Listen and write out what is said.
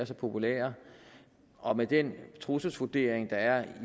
er populære og med den trusselsvurdering der er